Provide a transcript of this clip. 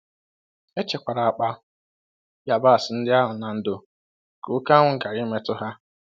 E chekwara akpa yabasị ndị ahụ na ndo ka oke anwụ ghara imetụ ha.